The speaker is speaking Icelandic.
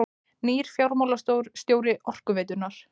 Nýr fjármálastjóri Orkuveitunnar